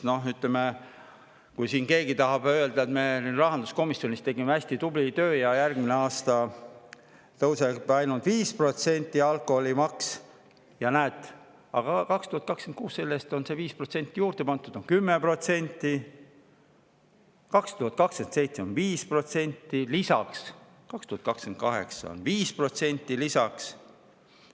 Noh, ütleme, kui siin keegi tahab öelda, et näed, me tegime rahanduskomisjonis hästi tubli töö ja järgmisel aastal tõuseb alkoholimaks ainult 5%, 2026 on selle eest 5% juurde pandud, on 10%, ja 2027 on 5% lisaks, ka 2028 on 5% lisaks.